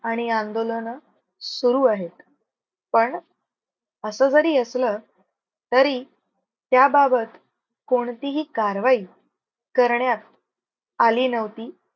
आणि आंदोलन सुरु आहेत. पण असं जरी असलं तरी त्या बाबत कोणतीही कारवाई करण्यात अली नव्हती.